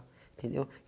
Entendeu?